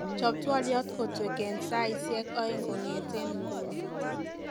chob twolyot kotwek en saigiek oeng kongeten inguni